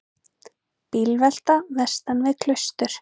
Bílvelta vestan við Klaustur